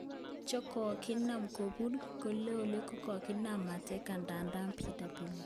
Chekokinap kopur kolele kakinap mateka ndadan BW